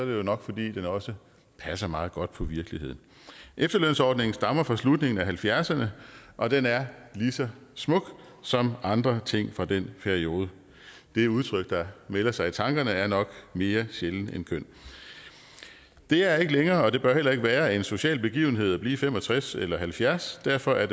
jo nok fordi den også passer meget godt på virkeligheden efterlønsordningen stammer fra slutningen af nitten halvfjerdserne og den er lige så smuk som andre ting fra den periode det udtryk der melder sig i tankerne er nok mere sjælden end køn det er ikke længere og det bør heller ikke være en social begivenhed at blive fem og tres eller halvfjerds år derfor er